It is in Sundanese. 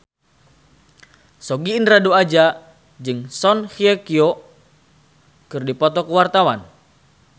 Sogi Indra Duaja jeung Song Hye Kyo keur dipoto ku wartawan